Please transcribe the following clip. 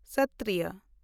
ᱥᱚᱛᱛᱨᱤᱭᱚ